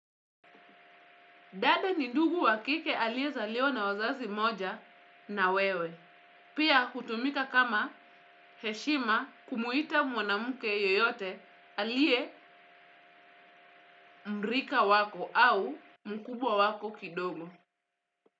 Dada ni ndugu wa kike aliyezaliwa na wazazi moja na wewe. Pia hutumika kama heshima kumuita mwanamke yeyote aliye mrika wako au mkubwa wako kidogo.